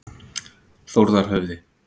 Þórðarhöfði